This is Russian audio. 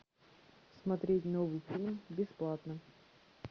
смотреть новый фильм бесплатно